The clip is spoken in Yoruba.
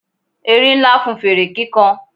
erin Nla fún fere kikan